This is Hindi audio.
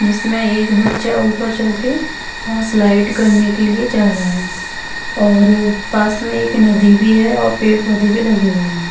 जिसमे एक बच्चा ऊपर चढ़ के स्लाइड करने के लिए जा रहा हैं और पास में एक नदी हैं और पेड़ पौधे भी लगे हुए हैं।